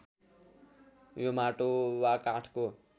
यो माटो वा काठको